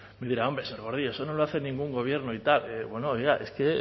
me dirá hombre señor gordillo eso no lo hace ningún gobierno y tal bueno oiga es que